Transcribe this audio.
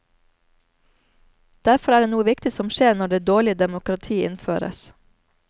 Derfor er det noe viktig som skjer når det dårlige demokratiet innføres.